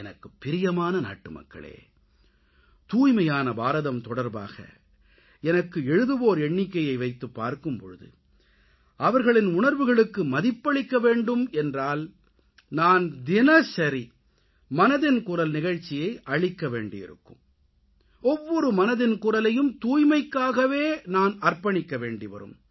எனக்குப் பிரியமான நாட்டுமக்களே தூய்மையான பாரதம் தொடர்பாக எனக்கு எழுதுவோர் எண்ணிக்கையை வைத்துப் பார்க்கும் போது அவர்களின் உணர்வுகளுக்கு மதிப்பளிக்கவேண்டும் என்றால் நான் தினசரி மனதின் குரல் நிகழ்ச்சியை அளிக்கவேண்டியிருக்கும் ஒவ்வொரு மனதின் குரலையும் தூய்மைக்காகவே நான் அர்ப்பணிக்க வேண்டிவரும்